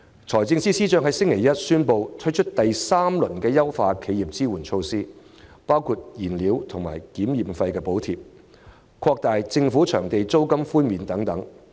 財政司司長在星期一宣布第三輪支援企業措施，包括燃料和檢驗費補貼、擴大政府場地的租金寬免範圍等。